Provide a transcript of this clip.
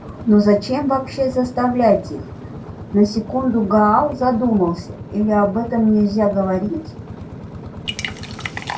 но зачем вообще заставлять их на секунду гаал задумался или об этом нельзя говорить